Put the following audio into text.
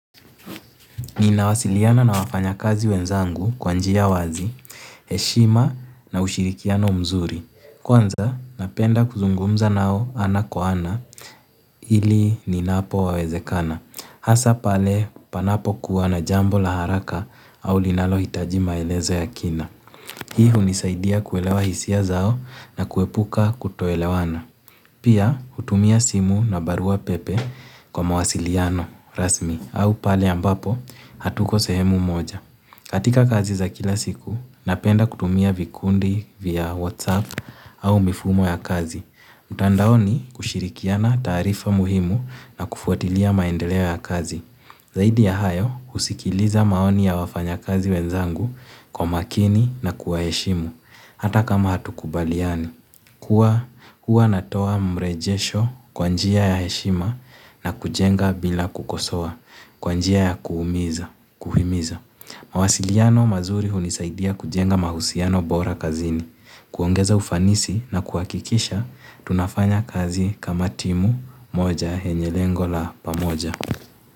Nina wasiliana na wafanya kazi wenzangu, kwanjia wazi, heshima na ushirikiano mzuri. Kwanza, napenda kuzungumza nao ana kwa ana, ili ninapo wawezekana. Hasa, pale panapo kuwa na jambo laharaka, au linalo hitaji maelezo ya kina. Hii hunisaidia kuelewa hisia zao na kuepuka kutoelewana. Pia, hutumia simu na barua pepe kwa mawasiliano rasmi au pale ambapo, hatuko sehemu moja. Katika kazi za kila siku, napenda kutumia vikundi vya WhatsApp au mifumo ya kazi. Mtandaoni kushirikiana taarifa muhimu na kufuatilia maendeleo ya kazi. Zaidi ya hayo, husikiliza maoni ya wafanya kazi wenzangu kwa makini na kuwaheshimu. Hata kama hatu kubaliani, kuwa huwa natoa mrejesho kwanjia ya heshima na kujenga bila kukosoa kwanjia ya kuhimiza. Mawasiliano mazuri hunisaidia kujenga mahusiano bora kazini. Kuongeza ufanisi na kuwakikisha, tunafanya kazi kama timu moja yenye lengo la pamoja.